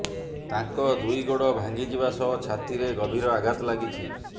ତାଙ୍କ ଦୁଇ ଗୋଡ ଭାଙ୍ଗିଯିବା ସହ ଛାତିରେ ଗଭୀର ଆଘାତ ଲାଗିଛି